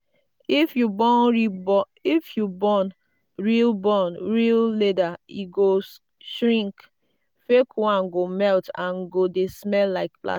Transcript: if you burn real burn real leather e go shrink; fake one go melt and go dey smell like plastic